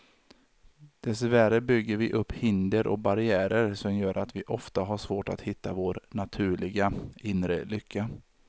Dessvärre bygger vi upp hinder och barriärer som gör att vi ofta har svårt att hitta vår naturliga, inre lycka.